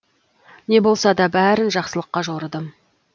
не болса да бәрін жақсылыққа жорыдым